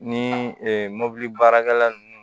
Ni mobili baarakɛla ninnu